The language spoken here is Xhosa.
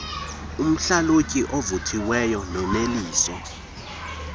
umhlalutyi ovuthiweyo noneliso